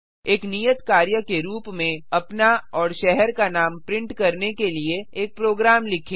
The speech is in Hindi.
एक नियत कार्य के रूप में अपना और शहर का नाम को प्रिंट करने के लिए एक प्रोग्राम लिखें